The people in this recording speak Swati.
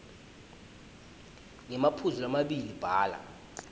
ngemaphuzu lamabili bhala